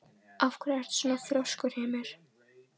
Af hverju ertu svona þrjóskur, Hymir?